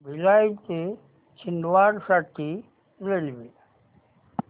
भिलाई ते छिंदवाडा साठी रेल्वे